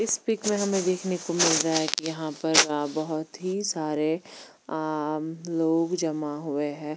इस पिक् में हमे देखने को मिल रहा है कि यहाँ पर बहुत ही सारे अम्म लोग जमा हुए है।